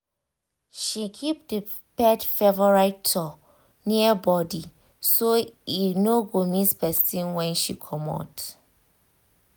she keep the pet favorite toy near body so e no go miss person when she comot.